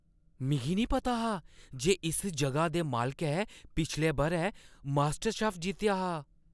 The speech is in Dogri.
मिगी नेईं पता हा जे इस जगह दे मालकै पिछले बʼरै मास्टरशेफ जित्तेआ हा!